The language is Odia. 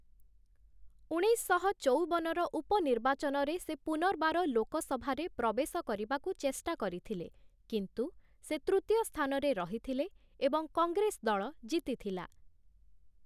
ଉଣେଇଶଶହ ଚଉବନର ଉପନିର୍ବାଚନରେ ସେ ପୁନର୍ବାର ଲୋକସଭାରେ ପ୍ରବେଶ କରିବାକୁ ଚେଷ୍ଟା କରିଥିଲେ, କିନ୍ତୁ ସେ ତୃତୀୟ ସ୍ଥାନରେ ରହିଥିଲେ ଏବଂ କଂଗ୍ରେସ ଦଳ ଜିତିଥିଲା ।